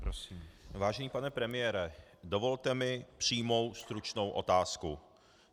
Vážený pane premiére, dovolte mi přímou stručnou otázku.